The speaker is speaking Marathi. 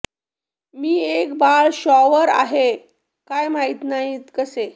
मी एक बाळ शॉवर आहे काय माहित नाही कसे